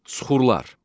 Suxurlar.